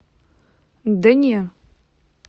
да не